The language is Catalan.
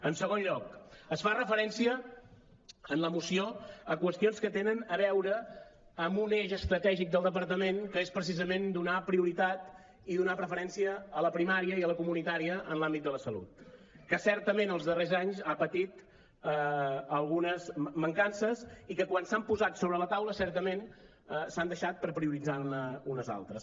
en segon lloc es fa referència en la moció a qüestions que tenen a veure amb un eix estratègic del departament que és precisament donar prioritat i donar preferència a la primària i a la comunitària en l’àmbit de la salut que certament els darrers anys han patit algunes mancances i que quan s’han posat sobre la taula certament s’han deixat per prioritzar ne unes altres